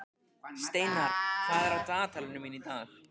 Steinar, hvað er á dagatalinu mínu í dag?